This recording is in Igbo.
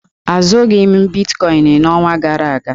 Azụghị m bitkọịn n'ọnwa gara aga.